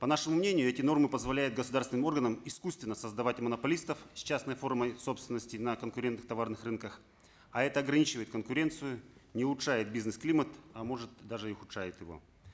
по нашему мнению эти нормы позволяют государственным органам искусственно создавать монополистов с частной формой собственности на конкурентных товарных рынках а это ограничивает конкуренцию не улучшает бизнес климат а может даже и ухудшает его